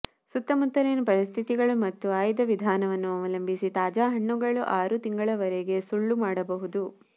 ಸುತ್ತಮುತ್ತಲಿನ ಪರಿಸ್ಥಿತಿಗಳು ಮತ್ತು ಆಯ್ದ ವಿಧಾನವನ್ನು ಅವಲಂಬಿಸಿ ತಾಜಾ ಹಣ್ಣುಗಳು ಆರು ತಿಂಗಳವರೆಗೆ ಸುಳ್ಳು ಮಾಡಬಹುದು